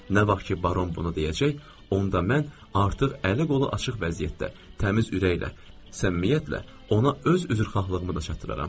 Nə vaxt ki, baron bunu deyəcək, onda mən artıq əli qolu açıq vəziyyətdə, təmiz ürəklə, səmimiyyətlə ona öz üzrxahlığımı da çatdıraram.